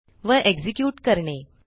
व एक्झिक्युट करणे